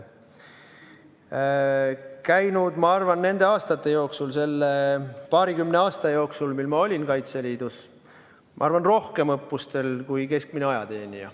Ma olen käinud nende aastate jooksul, selle paarikümne aasta jooksul, mil ma olin Kaitseliidus, oma arvates rohkem õppustel kui keskmine ajateenija.